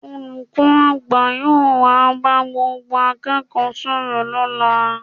Olùkọ́ àgbà yóò wá bá gbogbo akẹ́kọ̀ọ́ sọ̀rọ̀ lọ́la